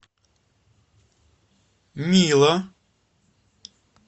мило